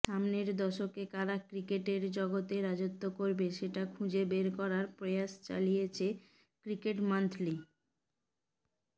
সামনের দশকে কারা ক্রিকেটের জগতে রাজত্ব করবে সেটা খুঁজে বের করার প্রয়াস চালিয়েছে ক্রিকেটমান্থলি